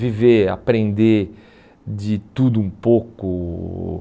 Viver, aprender de tudo um pouco.